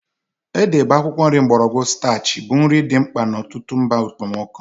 Ede bụ akwụkwọ nri mgbọrọgwụ starchy bụ nri dị mkpa n'ọtụtụ mba okpomọkụ.